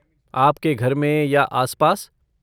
आपके घर में या आस पास?